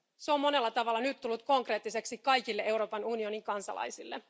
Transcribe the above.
Se on monella tavalla nyt tullut konkreettiseksi kaikille Euroopan unionin kansalaisille.